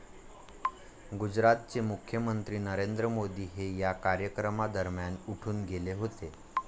गुजरातचे मुख्यमंत्री नरेंद्र मोदी हे या कार्यक्रमादरम्यान उठून गेले होते.